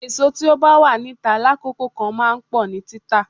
Èso tí ó bá wà níta lákòókò kan máa ń pọ̀ ní títà.